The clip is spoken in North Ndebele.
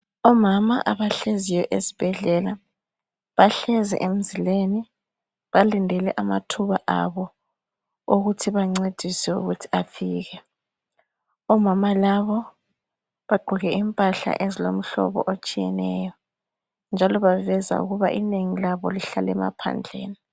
Omama abahleziyo esibhedlela bahlezi emzileni balinde amathuba abo okuthi bancediswe afike omama labo bagqoke impahla ezilomhlobo etshiyeneyo njalo baveza ukuba inengi labo lihlala emaphandleni.